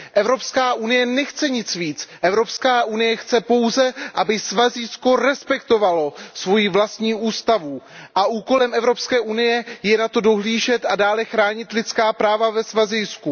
Evropská unie nechce nic víc, Evropská unie chce pouze, aby Svazijsko respektovalo svoji vlastní ústavu, a úkolem Evropské unie je na to dohlížet a dále chránit lidská práva ve Svazijsku.